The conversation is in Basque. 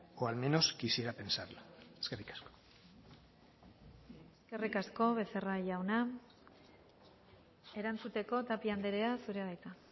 o al menos quisiera pensarlo eskerrik asko eskerrik asko becerra jauna erantzuteko tapia andrea zurea da hitza